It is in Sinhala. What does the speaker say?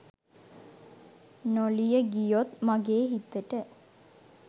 නොලිය ගියොත් මගේ හිතට